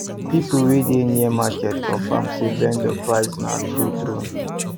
people wey dey near market confirm say vendor price na true true